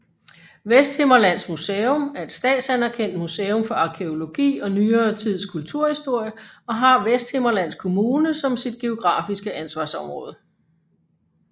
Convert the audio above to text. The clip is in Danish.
Vesthimmerlands Museum er et statsanerkendt museum for arkæologi og nyere tids kulturhistorie og har Vesthimmerlands Kommune som sit geografiske ansvarsområde